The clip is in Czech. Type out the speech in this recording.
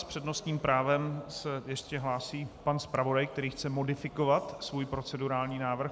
S přednostním právem se ještě hlásí pan zpravodaj, který chce modifikovat svůj procedurální návrh.